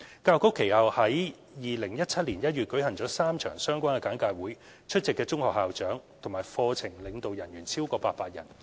教育局其後於2017年1月舉行了3場相關的簡介會，出席的中學校長和課程領導人員超過800人。